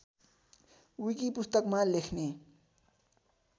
wiki पुस्तकमा लेख्ने